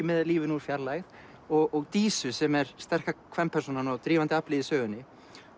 með lífinu úr fjarlægð og Dísu sem er sterka kvenpersónan og drífandi aflið í sögunni